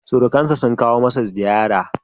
Surukansa sun kawo masa ziyara.